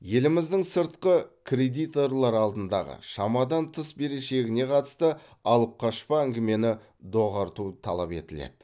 еліміздің сыртқы кредиторлар алдындағы шамадан тыс берешегіне қатысты алып қашпа әңгімені доғарту талап етіледі